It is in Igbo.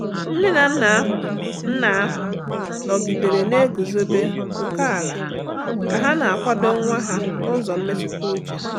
Nne na nna ahụ nna ahụ nọgidere na-eguzobe oke ala ka ha na-akwado nwa ha n’ụzọ mmetụta uche.